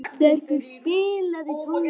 Arnbergur, spilaðu tónlist.